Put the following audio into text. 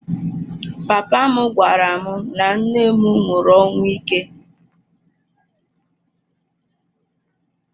Papa m gwara m na nne m nwụrụ ọnwụ ike.